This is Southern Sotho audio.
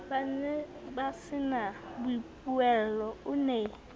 ba nebasena boipuello o ne